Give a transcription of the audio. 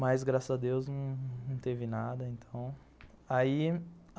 Mas, graças a Deus, não teve nada, então, aí